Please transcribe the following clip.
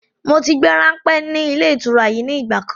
Moti gbé ranpẹ́ ni ilé ìtura yìí ni ìgbàkan.